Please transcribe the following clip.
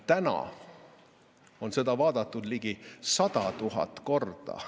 Tänaseks on seda vaadatud ligi 100 000 korda.